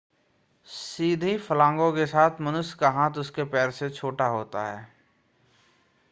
सीधी फलांगों के साथ मनुष्य का हाथ उसके पैर से छोटा होता है